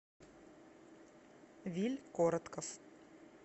виль коротков